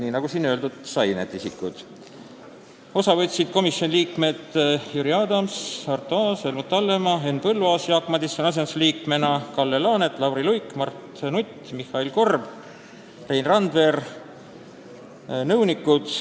Istungist võtsid osa komisjoni liikmed Jüri Adams, Arto Aas, Helmut Hallemaa, Marko Pomerants, Henn Põlluaas Jaak Madisoni asendusliikmena, Kalle Laanet, Lauri Luik, Mart Nutt, Mihhail Korb, Rein Randver ja nõunikud.